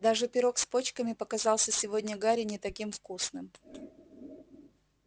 даже пирог с почками показался сегодня гарри не таким вкусным